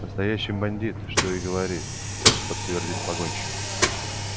настоящий бандит что и говорить подтвердил погонщик